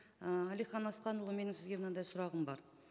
ыыы әлихан асханұлы менің сізге мынандай сұрағым бар